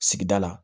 Sigida la